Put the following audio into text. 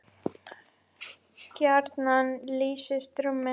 gjarnan lýsist rúmið